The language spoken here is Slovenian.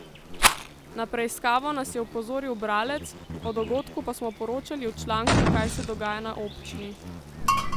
Na preiskavo nas je opozoril bralec, o dogodku pa smo poročali v članku Kaj se dogaja na občini?